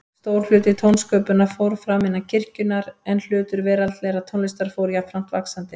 Stór hluti tónsköpunar fór fram innan kirkjunnar, en hlutur veraldlegrar tónlistar fór jafnframt vaxandi.